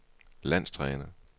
landstræner